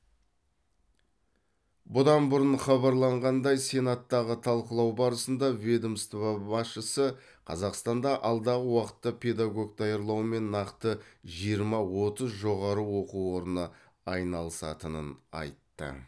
бұдан бұрын хабарланғандай сенаттағы талқылау барысында ведомство басшысы қазақстанда алдағы уақытта педагог даярлаумен нақты жиырма отыз жоғары оқу орны айналысатынын айтты